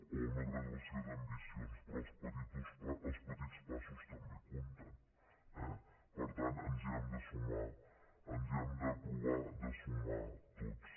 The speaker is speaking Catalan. o una graduació d’ambicions però els petits passos també compten eh per tant ens hi hem de sumar hem de provar de sumar nos hi tots